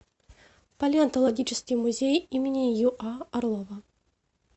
палеонтологический музей им юа орлова